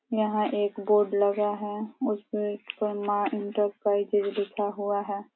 यहाँ एक बोर्ड लगा है। उसपे माँ इंटरप्राइजेज लिखा हुआ है।